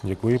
Děkuji.